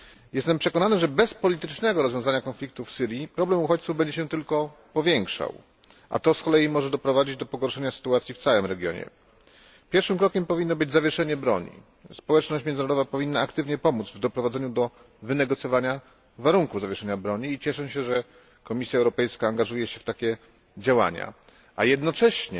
Jestem przekonany, że bez politycznego rozwiązania konfliktu w Syrii problem uchodźców będzie się tylko powiększał, a to z kolei może doprowadzić do pogorszenia sytuacji w całym regionie. Pierwszym krokiem powinno być zawieszenie broni. Społeczność międzynarodowa powinna aktywnie pomóc w doprowadzeniu do wynegocjowania warunków zawieszenia broni i cieszę się, że Komisja Europejska angażuje się w takie działania. Jednocześnie